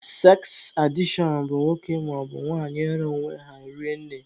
Seks adishọn bụ nwoke maọbụ nwanyị ịra onwe ha rinne.